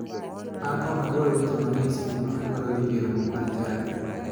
An ok adwar weche mang'eny seche ma adwaro dhi e romo mar chadi.